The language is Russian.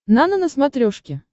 нано на смотрешке